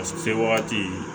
Se wagati